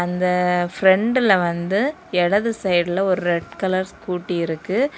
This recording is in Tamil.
இந்த பிரண்டுல வந்து இடது சைடுல ஒரு ரெட் கலர் ஸ்கூட்டி இருக்கு.